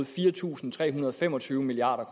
fire tusind tre hundrede og fem og tyve milliard